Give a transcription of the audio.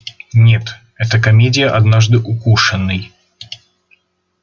нет это комедия однажды укушенный